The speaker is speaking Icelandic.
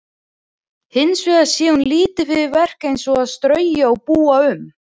Hins vegar sé hún lítið fyrir verk eins og að strauja og búa um.